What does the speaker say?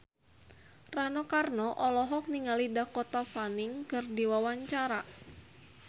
Rano Karno olohok ningali Dakota Fanning keur diwawancara